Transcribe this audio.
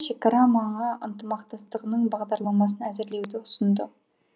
шекара маңы ынтымақтастығының бағдарламасын әзірлеуді ұсынды